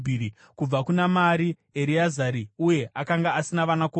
Kubva kuna Mari: Ereazari, uye akanga asina vanakomana.